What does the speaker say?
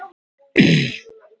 Þolfall: Jesú